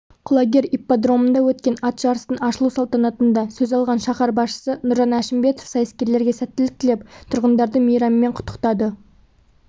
құлагер ипподромында өткен ат жарыстың ашылу салтанатында сөз алған шаһар басшысы нұржан әшімбетов сайыскерлерге сәттілік тілеп тұрғындарды мейраммен құттықтады